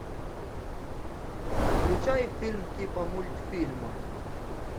включай фильм типа мультфильма